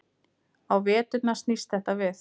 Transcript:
Á veturna snýst þetta við.